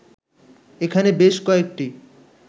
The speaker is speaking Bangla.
এখানে বেশ কয়েকটি